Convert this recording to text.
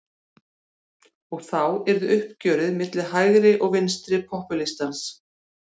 Og þá yrði uppgjörið milli hægri og vinstri popúlistans.